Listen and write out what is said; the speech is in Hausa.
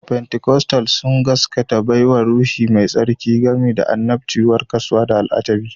Pentikostal sun gaskanta da baiwar Ruhu Mai Tsarki, gami da annabci, warkaswa, da al'ajibi